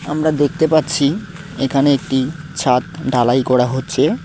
আমরা দেখতে পারছি এখানে একটি ছাদ ঢালাই করা হচ্ছে।